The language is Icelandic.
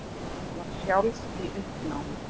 Var sjálf í uppnámi.